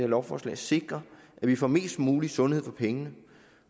lovforslag sikre at vi får mest mulig sundhed for pengene